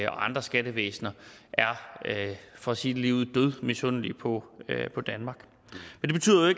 andre skattevæsener for at sige det ligeud er dødmisundelige på på danmark men